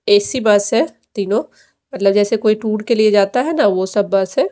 AC bus है तीनों मतलब जैसे कोई टूर के लिए जाता है ना वो सब बस है।